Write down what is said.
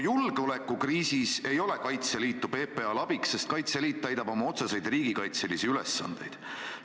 Julgeolekukriisis ei ole Kaitseliitu PPA-l abiks, sest Kaitseliit täidab oma otseseid riigikaitselisi ülesandeid.